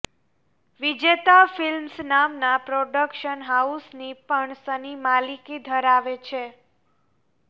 વિજેતા ફિલ્મ્સ નામના પ્રોડક્શન હાઉસની પણ સની માલિકી ધરાવે છે